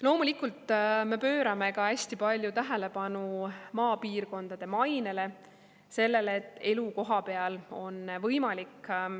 Loomulikult me pöörame ka hästi palju tähelepanu maapiirkondade mainele, sellele, et elu kohapeal on võimalik.